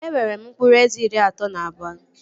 E nwere m mkpụrụ eze iri atọ na abụọ